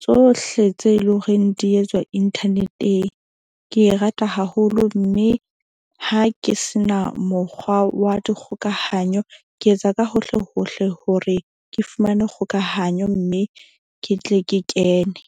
tsohle tse leng horeng di etswa internet-eng. Ke e rata haholo mme ha ke se na mokgwa wa dikgokahanyo. Ke etsa ka hohle hohle hore ke fumane kgokahanyo mme ke tle ke kene.